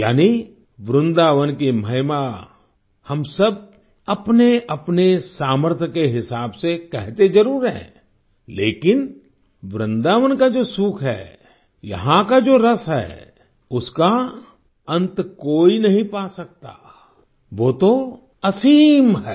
यानि वृंदावन की महिमा हम सब अपनेअपने सामर्थ्य के हिसाब से कहते जरूर हैं लेकिन वृंदावन का जो सुख है यहाँ का जो रस है उसका अंत कोई नहीं पा सकता वो तो असीम है